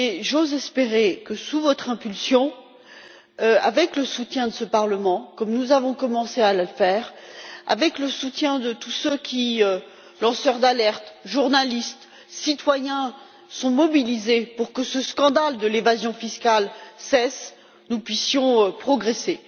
J'ose espérer que, sous votre impulsion, avec le soutien de ce Parlement, comme nous avons commencé à le faire, et avec le soutien de tous ceux qui, lanceurs d'alerte, journalistes, citoyens, sont mobilisés pour que ce scandale de l'évasion fiscale cesse, nous puissions progresser.